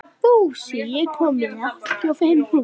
Fúsi, ég kom með áttatíu og fimm húfur!